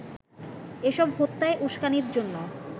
এসব হত্যায় উস্কানির জন্য